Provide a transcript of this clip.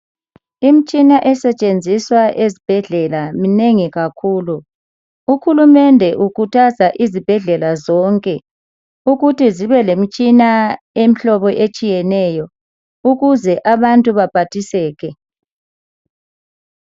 Imitshina esetshenziswa esetshenziswa ezibhedlela minengi kakhulu. Uhulumende ukhuthaza izibhedlela zonke ukuthi zibe lemitshina emhlobo etshiyeneyo ukuze abantu baphathiseke.